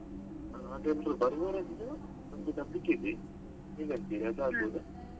ಎಲ್ರು ಬರುವವರಾಗಿದ್ರೆ ನನ್ಗೆ ನಂಬಿಕೆ ಇದೆ ಹೇಗ್ ಹೇಳ್ತಿರಿ ಅದ್ ಆಗ್ಬೋದಾ?